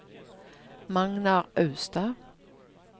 Magnar Austad